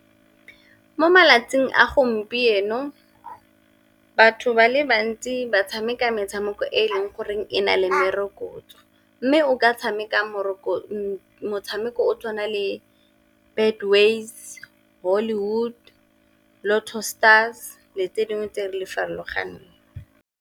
Mo malatsing a gompieno batho ba le bantsi ba tshameka metshameko e e leng goreng e na le merokotso, mme o ka tshameka motshameko o tswana le Betways, Hollywood, Lotto Stars le tse dingwe tse di farologaneng.